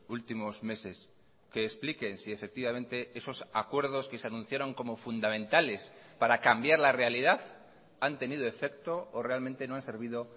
últimos meses qué expliquen si efectivamente esos acuerdos que se anunciaron como fundamentales para cambiar la realidad han tenido efecto o realmente no han servido